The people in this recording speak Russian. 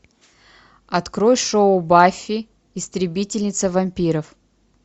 открой шоу баффи истребительница вампиров